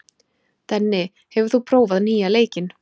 Denni, hefur þú prófað nýja leikinn?